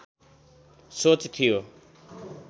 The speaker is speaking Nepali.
सोच थियो